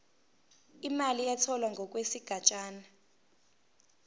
imali etholwe ngokwesigatshana